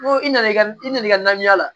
N ko i nana i ka i na i ka na la